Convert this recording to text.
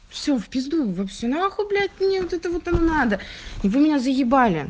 все в пизду все нахуй блять мне вот это вот оно надо вы меня заебали